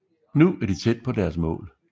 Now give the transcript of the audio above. Nu er de tæt på deres mål